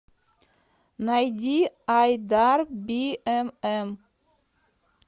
найди айдар биэмэм